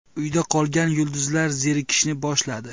Uyda qolgan yulduzlar zerikishni boshladi.